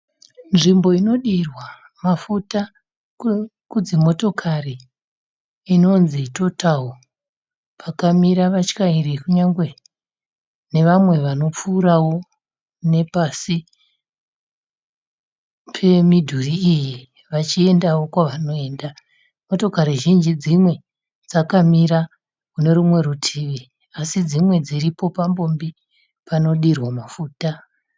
Nzvimbo inodirwa mafuta kudzi motokari inonzi Total pakamira vatyairi kunyangwe nevamwe vanopfuurawo nepasi pemidhuri iyi vachiendawo kwavanoenda. Motokari zhinji dzimwe dzakamira kune rimwe divi asi dzimwe dziripo papombi panodirwa mafuta.